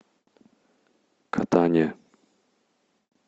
катания